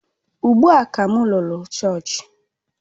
Ugbu a ka m lọrọ chọọchị